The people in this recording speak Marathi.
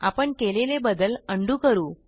आपण केलेले बदल उंडो करू